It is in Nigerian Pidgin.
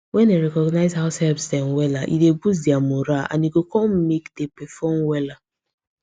when dem recognize househelps dem wella e dey boost dia morale and e go come make dey perform wella